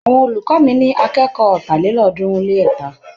Àwọn olùkọ́ mi ní akẹ́kọ̀ọ́ ọ̀tàlélọ́ọ̀ọ́dúnrún-lé-ẹ̀ta.